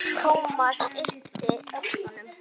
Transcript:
Thomas yppti öxlum.